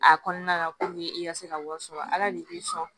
A kɔnɔna la puruke i ka se ka wari sɔrɔ ala de bɛ sɔn